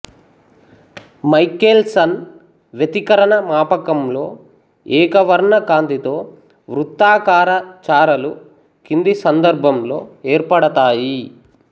Michael sun వ్యతికరణ మాపకంలో ఏకవర్ణ కాంతితో వృత్తాకార చారలు కింది సందర్భంలో ఏర్పడతాయి